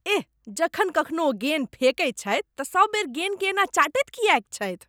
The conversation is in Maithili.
एह, जखन कखनो ओ गेन फेकै छथि तँ सब बेर गेनकेँ एना चटैत किएक छथि?